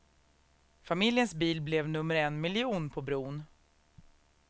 Familjens bil blev nummer en miljon på bron.